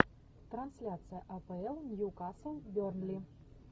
трансляция апл ньюкасл бернли